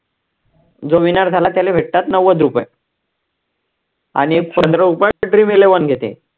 जो winner झाला, त्याला भेटतात नव्वद रुपये आणि पंधरा रुपये dream eleven घेते